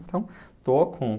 Então, estou com